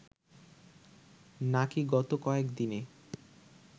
নাকি গত কয়েক দিনে